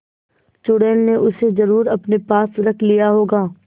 चुड़ैल ने उसे जरुर अपने पास रख लिया होगा